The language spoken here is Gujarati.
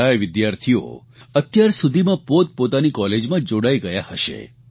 કેટલાય વિદ્યાર્થીઓ અત્યારસુધીમાં પોતપોતાની કોલેજમાં જોડાઇ ગયા હશે